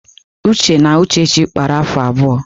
Uche na Uchechi kpara afọ abụọ.